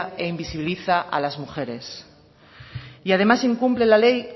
e invisibiliza a las mujeres y además incumple la ley